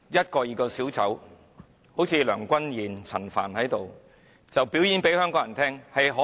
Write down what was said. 各名小丑，例如梁君彥和陳帆，向香港人表演他們能多卑劣。